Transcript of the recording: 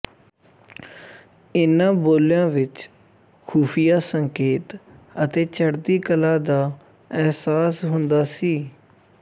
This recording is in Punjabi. ਇਨ੍ਹਾਂ ਬੋਲਿਆਂ ਵਿੱਚ ਖੁਫ਼ੀਆ ਸੰਕੇਤ ਅਤੇ ਚੜ੍ਹਦੀ ਕਲਾ ਦਾ ਅਹਿਸਾਸ ਹੁੰਦਾ ਸੀ